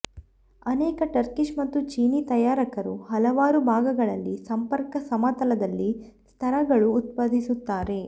ಅನೇಕ ಟರ್ಕಿಷ್ ಮತ್ತು ಚೀನೀ ತಯಾರಕರು ಹಲವಾರು ಭಾಗಗಳಲ್ಲಿ ಸಂಪರ್ಕ ಸಮತಲದಲ್ಲಿ ಸ್ತರಗಳು ಉತ್ಪಾದಿಸುತ್ತಾರೆ